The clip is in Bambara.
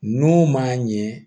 N'o man ɲɛ